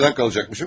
Nədən qalacaqmışam?